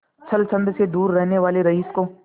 छल छंद से दूर रहने वाले रईस को